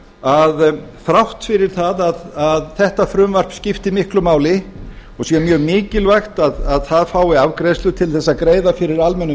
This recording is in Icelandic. að þrátt fyrir það að þetta frumvarp skipti miklu máli og sé mjög mikilvægt að það fái afgreiðslu til þess að greiða fyrir almennum